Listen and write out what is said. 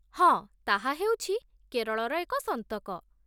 ହଁ, ତାହା ହେଉଛି କେରଳର ଏକ ସନ୍ତକ